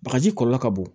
Bagaji kɔlɔlɔ ka bon